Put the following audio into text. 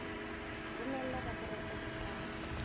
romela raporoto ya ho qala